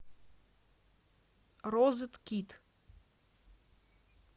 розеткид